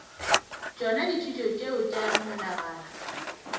tšona dithuto tšeo tša menagano